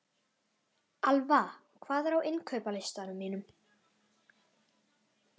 Alfa, hvað er á innkaupalistanum mínum?